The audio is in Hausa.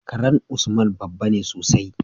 karan usman babbane sosai